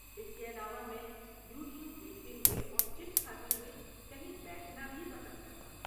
اس کے علاوہ میں یوٹیوب دیکھتے ہوئے اور چپس کھاتے ہوئے کہیں بیٹھنا بھی پسند کرتا ہوں۔